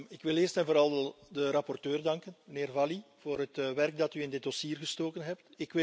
Ik wil eerst en vooral de rapporteur danken, mijnheer Valli, voor het werk dat u in dit dossier gestoken hebt.